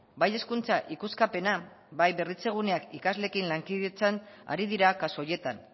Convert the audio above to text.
bai hezkuntza ikuskapena bai berritzeguneak ikasleekin lankidetzan ari dira kasu horietan